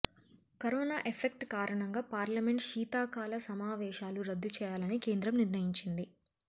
corona effect కారణంగా parliament శీతాకాల సమావేశాలు రద్దు చేయాలని కేంద్రం నిర్ణయించింది